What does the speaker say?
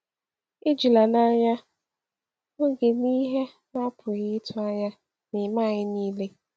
“Ejila n’anya na ‘oge na ihe na-apụghị ịtụ anya’ na-eme anyị niile.”